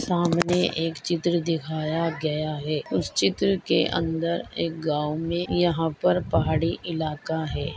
सामने एक चित्र दिखाया गया है उस चित्र के अंदर एक गाव मे यहाँ पर पहाड़ी इलाका है।